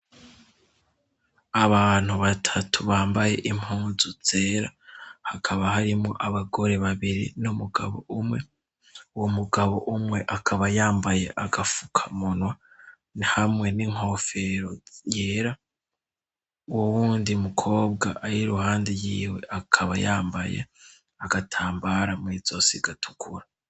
Abantu batatu bambaye impunzu zera hakaba harimo abagore babiri no mugabo umwe wo mugabo umwe akaba yambaye agafuka munwa nhamwe n'inkofero yera wo wundi mukobwa ari i ruhande yiwe akaba yambaye agatambara mwizosigatukura.